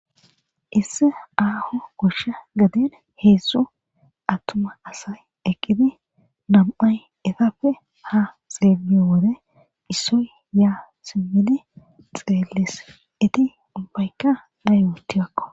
Isse aaho koshsha gaden heesso attuma asay eqqidi nam7ay etappe ha xeeliyo wore issoy yaa simmidi xeelles iti umbaykka na yootiwakko